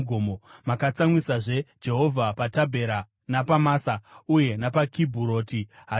Makatsamwisazve Jehovha paTabhera, napaMasa uye napaKibhuroti Hataavha.